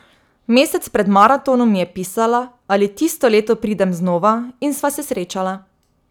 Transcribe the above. Mesec pred maratonom mi je pisala, ali tisto leto pridem znova, in sva se srečala.